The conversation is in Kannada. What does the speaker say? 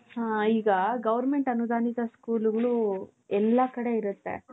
ಹ ಈಗ goverment ಅನುದಾನಿತ school ಗಳು ಎಲ್ಲಾ ಕಡೆ ಇರುತ್ತೆ .